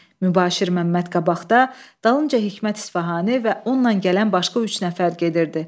Mübaşir Məmməd qabaqda, dalınca Hikmət İsfahani və onunla gələn başqa üç nəfər gedirdi.